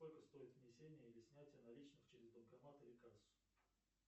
сколько стоит внесение или снятие наличных через банкомат или кассу